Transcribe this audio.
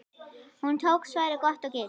Hún tók svarið gott og gilt.